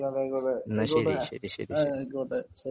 ആയിക്കോട്ടെ ആയിക്കോട്ടെ ആയിക്കോട്ടെ ആയിക്കോട്ടെ ശെരി